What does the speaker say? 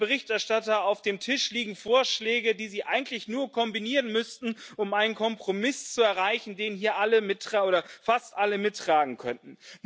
Herr Berichterstatter, auf dem Tisch liegen Vorschläge, die Sie eigentlich nur kombinieren müssten, um einen Kompromiss zu erreichen, den hier fast alle mittragen könnten.